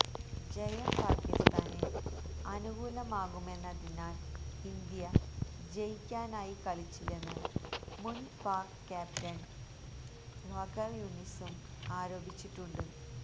ജയം പാക്കിസ്ഥാന് അനുകൂലമാകുമെന്നതിനാല് ഇന്ത്യ ജയിക്കാനായി കളിച്ചില്ലെന്ന് മുന് പാക് ക്യാപ്റ്റന് വഖാര് യുനിസും ആരോപിച്ചിട്ടുണ്ട്